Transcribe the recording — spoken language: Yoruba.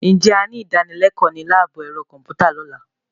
Ǹjẹ́ a ní ìdánilẹ́kọ̀ọ́ ní láàbù ẹ̀rọ kọ̀m̀pútà lọ́la.